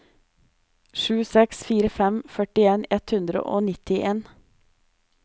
sju seks fire fem førtien ett hundre og nittien